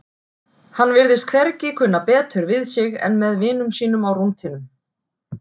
Hann virtist hvergi kunna betur við sig en með vinum sínum á rúntinum.